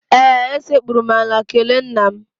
Ee, esekpuru m ala kelee nna m.